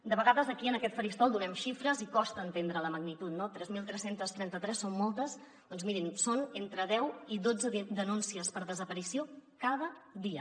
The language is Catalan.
de vegades aquí en aquest faristol donem xifres i costa entendre’n la magnitud no tres mil tres centes trenta tres són moltes doncs mirin són entre deu i dotze denúncies per desaparició cada dia